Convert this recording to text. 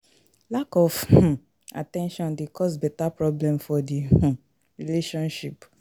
Lack of um at ten tion de cause beta problem for di um relationship